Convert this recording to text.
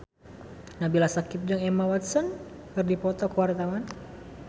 Nabila Syakieb jeung Emma Watson keur dipoto ku wartawan